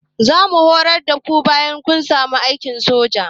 Zamu horar da ku bayan kun samu aikin sojan